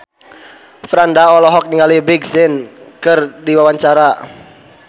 Franda olohok ningali Big Sean keur diwawancara